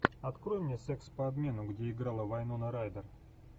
открой мне секс по обмену где играла вайнона райдер